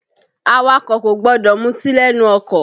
Awakọ̀ kò gbọdọ̀ muti lẹ́nu ọkọ̀